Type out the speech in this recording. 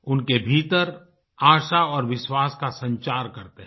उनके भीतर आशा और विश्वास का संचार करते हैं